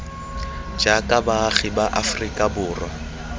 jaaka baagi ba aferika borwa